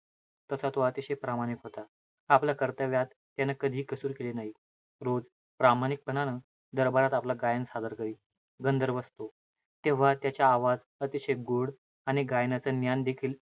तसा तो अतिशय प्रामाणिक होता. आपल्या कर्तव्यात, त्यानं कधीही कसूर केली नाही. रोज, प्रामाणिकपणानं दरबारात आपलं गायन सादर करीत. गंधर्वाचं तो. तेव्हा त्याचे आवाज अतिशय गोड आणि गायनाचं ज्ञान देखील,